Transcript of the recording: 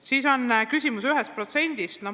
Siin on ka küsimus tolle 1% kohta.